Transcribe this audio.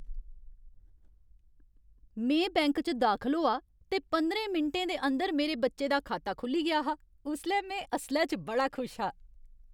में बैंक च दाखल होआ ते पंदरें मिंटें दे अंदर मेरे बच्चे दा खाता खु'ल्ली गेआ हा। उसलै में असलै च बड़ा खुश हा।